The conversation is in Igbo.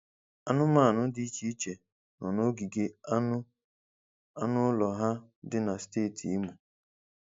Anụmanụ dị iche iche nọ n'ogige anụ anụ ụlọ ha dị na steeti Imo.